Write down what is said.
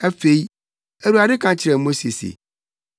Afei, Awurade ka kyerɛɛ Mose se,